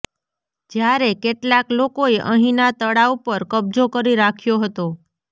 જ્યારે કેટલાક લોકોએ અહીંના તળાવ પર કબજો કરી રાખ્યો હતો